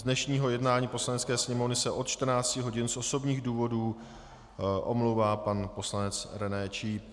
Z dnešního jednání Poslanecké sněmovny se od 14 hodin z osobních důvodů omlouvá pan poslanec René Číp.